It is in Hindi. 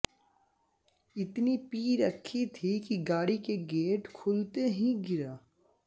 इतनी पी रखी थी कि गाड़ी का गेट खुलते ही गिरा